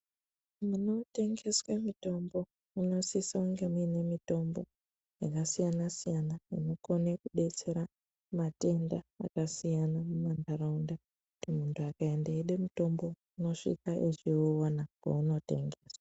Munotengeswe mitombo munosise kunge mune mitombo yakasiyana siyana inokone kudetsera matenda akasiyana mumandaraunda kuti mundu akaenda eyiida mutombo unosvika eyiwuona paunotengeswa.